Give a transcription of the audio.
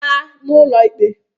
aa n'ụlọ ikpe!